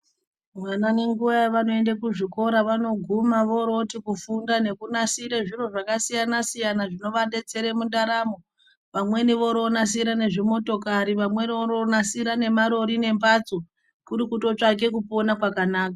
Vana nenguwa yevanoenda kuzvikora vanoguma vorovoti kufunda nekunasire zviro zvakasiyana siyana zvinovadetsere mundaramo vamweni vorovonasire nezvimotokari vamweni vorovonasire nemarori nemphatso kuri kutotsvake kupona kwakanaka.